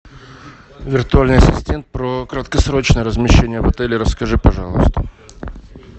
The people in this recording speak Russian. виртуальный ассистент про краткосрочное размещение в отеле расскажи пожалуйста